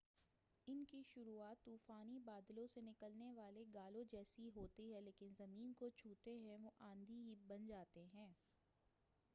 ان کی شروعات طوفانی بادلوں سے نکلنے والے گالوں جیسی ہوتی ہے لیکن زمین کو چھوتے ہی وہ آندھی بن جاتے ہیں